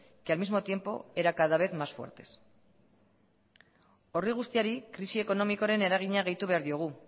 que al mismo tiempo eran cada vez más fuertes horri guztiari krisi ekonomiaren eragina gehitu behar diogu